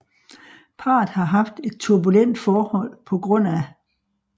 Parret har haft et turbulent forhold pga